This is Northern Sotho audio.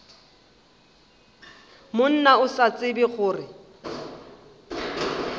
monna o sa tsebe gore